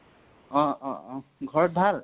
অ অ অ । ঘৰত ভাল?